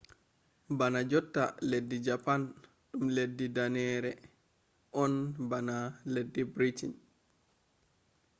bana jotta leddi japan ɗum leddi danneere on bana leddi briten